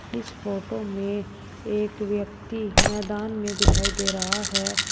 इस फोटो में एक व्यक्ति मैदान में दिखाई दे रहा है।